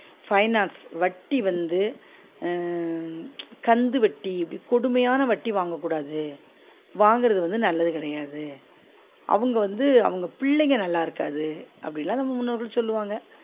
finance வட்டி வந்து ஆஹ் கந்து வட்டி இப்டி கொடுமையான வட்டி வாங்க கூடாது வாங்குறது வந்து நல்லது கிடையாது அவுங்க வந்து அவுங்க பிள்ளைங்க நல்லா இருக்காது அப்டிலாம் நம்ம முன்னோர்கள் சொல்வாங்க